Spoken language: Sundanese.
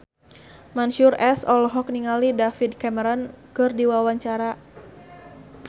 Mansyur S olohok ningali David Cameron keur diwawancara